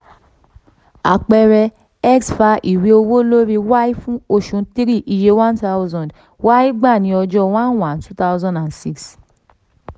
àpẹẹrẹ: x fa ìwé owó lórí y fún oṣù three iye one thousand; y gbà ní ọjọ́ one one two thousand and six.